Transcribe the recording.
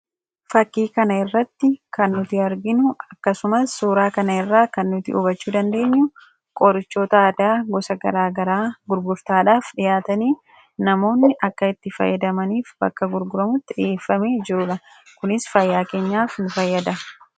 Fakkii kana irratti kan nuti arginu akkasumas suuraa kana irraa kan nuti hubachuu dandeenyu qorichoota aadaa gosa gara garaa gurgurtaadhaaf dhiyaatanii, namoonni akka itti fayyadamaniif bakka gurguramutti dhiyeeffamee jirudha. Kunis fayyaa keenyaaf nu fayyada.